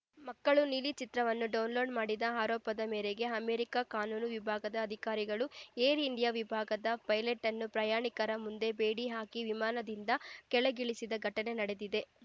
ಮಕ್ಕಳು ನೀಲಿ ಚಿತ್ರವನ್ನು ಡೌನ್‌ಲೋಡ್ ಮಾಡಿದ ಆರೋಪದ ಮೇರೆಗೆ ಅಮೆರಿಕಾ ಕಾನೂನು ವಿಭಾಗದ ಅಧಿಕಾರಿಗಳು ಏರ್ ಇಂಡಿಯಾ ವಿಭಾಗದ ಪೈಲಟನ್ನು ಪ್ರಯಾಣಿಕರ ಮುಂದೆ ಬೇಡಿ ಹಾಕಿ ವಿಮಾನದಿಂದ ಕೆಳಗಿಳಿಸಿದ ಘಟನೆ ನಡೆದಿದೆ